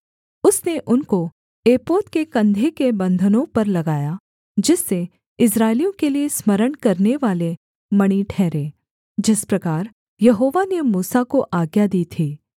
उसने उनको एपोद के कंधे के बन्धनों पर लगाया जिससे इस्राएलियों के लिये स्मरण करानेवाले मणि ठहरें जिस प्रकार यहोवा ने मूसा को आज्ञा दी थी